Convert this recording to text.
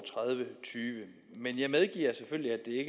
tyve men jeg medgiver selvfølgelig